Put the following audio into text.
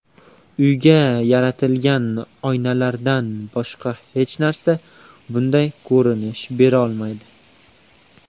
Uyga yaltiragan oynalardan boshqa hech narsa bunday ko‘rinish berolmaydi.